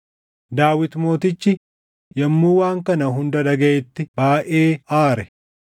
Daawit mootichi yommuu waan kana hunda dhagaʼetti baayʼee aare.